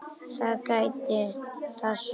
Það geta það sumir.